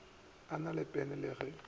na le pene le ge